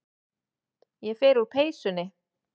Ég fer úr peysunni.